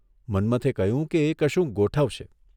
મન્મથે કહ્યું કે એ કશુંક ગોઠવશે.